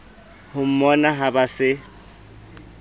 ho mmona ha ba se